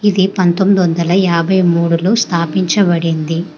ఇది పంతోమ్మిది వందల యాభై మూడు లో స్థాపించబడింది.